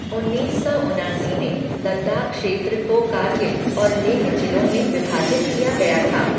उन्नीस सौ उनासी में लद्दाख क्षेत्र को कारगिल और लेह जिलों में विभाजित किया गया था।